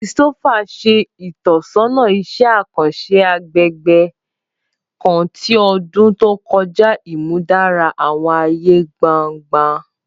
Christopher ṣe itọsọna iṣẹ akanṣe agbegbe kan ni ọdun to kọja, imudara awọn aaye gbangba.